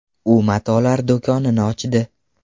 U matolar do‘konini ochdi.